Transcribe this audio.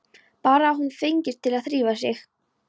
Bara að hún fengist til að þrífa sig.